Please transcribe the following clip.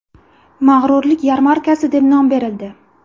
Mag‘rurlik yarmarkasi” deb nom berildi.